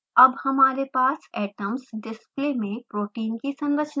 अब हमारे पास atoms display में protein की संरचना है